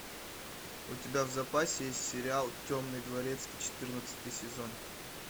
у тебя в запасе есть сериал темный дворецкий четырнадцатый сезон